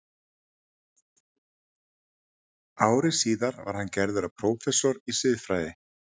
Ári síðar var hann gerður að prófessor í siðfræði.